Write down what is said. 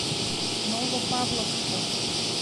новопавловску